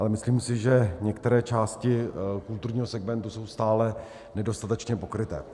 Ale myslím si, že některé části kulturního segmentu jsou stále nedostatečně pokryté.